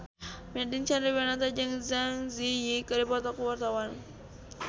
Nadine Chandrawinata jeung Zang Zi Yi keur dipoto ku wartawan